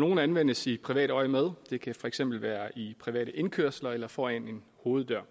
nogle anvendes i privat øjemed det kan for eksempel være i private indkørsler eller foran en hoveddør